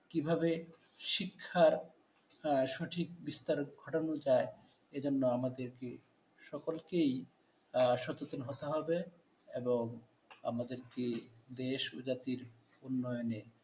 কীভাবে শিক্ষার সঠিক বিস্তার ঘটানো যায়। এ জন্য আমাদেরকে কী সকলকেই সচেতন হতে হবে এবং আমাদেরকে দেশ জাতির উন্নয়নে